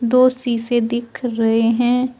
दो शीशे दिख रहे हैं।